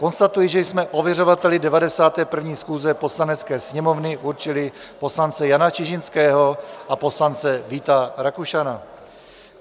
Konstatuji, že jsme ověřovateli 91. schůze Poslanecké sněmovny určili poslance Jana Čižinského a poslance Víta Rakušana.